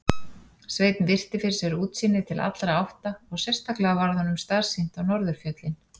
Sveinn virti fyrir sér útsýnið til allra átta og sérstaklega varð honum starsýnt á norðurfjöllin.